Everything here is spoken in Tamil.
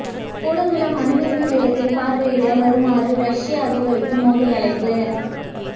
கூடங்குளம் அணுமின் நிலையத்தை பார்வையிட வருமாறு ரஷ்ய அதிபருக்கு மோடி அழைப்பு